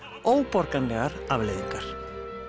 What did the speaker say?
óborganlegar afleiðingar